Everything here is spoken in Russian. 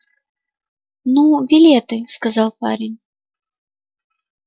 ну билеты сказал парень